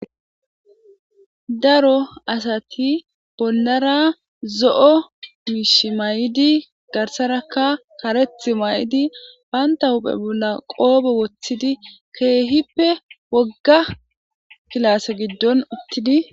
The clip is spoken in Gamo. Daro asti bollara zo'o miishshi mayidi garssarakka kareththi mayidi bantta huphe bollarakka qoope woththidi keehippe wogga kilaase giddon uttidi